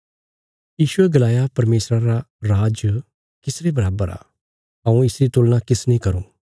यीशुये गलाया परमेशरा रा राज किस रे बराबर आ हऊँ इसरी तुलना किसने करूँ